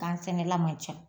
Gan sɛnɛla man ca